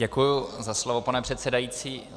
Děkuji za slovo, pane předsedající.